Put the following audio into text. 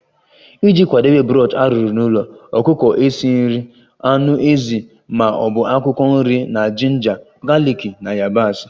Iji kwadebe broth arụrụ n'ụlọ, ọkụkọ esi nri, anụ ezi ma ọ bụ akwụkwọ nri na jinja, galiki na yabasị